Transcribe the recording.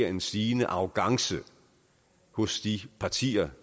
en stigende arrogance hos de partier